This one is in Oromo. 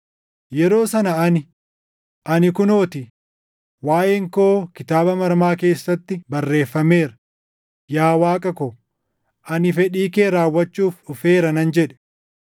Yeroo sana ani, ‘Ani kunoo ti; waaʼeen koo kitaaba maramaa keessatti barreeffameera; yaa Waaqa ko, ani fedhii kee raawwachuuf dhufeera’ nan jedhe.” + 10:7 \+xt Far 40:6‑8\+xt*